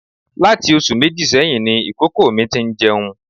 Láti oṣù méjì sẹ́yìn ni ìkókó mi ti ń jẹun